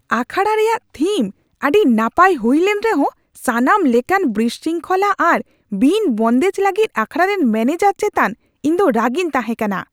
ᱟᱠᱷᱟᱲᱟ ᱨᱮᱭᱟᱜ ᱛᱷᱤᱢ ᱟᱹᱰᱤ ᱱᱟᱯᱟᱭ ᱦᱩᱭ ᱞᱮᱱ ᱨᱮᱦᱚᱸ, ᱥᱟᱱᱟᱢ ᱞᱮᱠᱟᱱ ᱵᱤᱥᱨᱤᱝᱠᱷᱚᱞᱟ ᱟᱨ ᱵᱤᱱᱼ ᱵᱚᱱᱫᱮᱡ ᱞᱟᱹᱜᱤᱫ ᱟᱠᱷᱟᱲᱟ ᱨᱮᱱ ᱢᱚᱱᱮᱡᱟᱨ ᱪᱮᱛᱟᱱ ᱤᱧ ᱫᱚ ᱨᱟᱹᱜᱤᱧ ᱛᱟᱦᱮᱸᱠᱟᱱᱟ ᱾